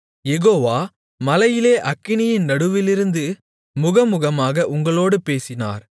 யெகோவா மலையிலே அக்கினியின் நடுவிலிருந்து முகமுகமாக உங்களோடு பேசினார்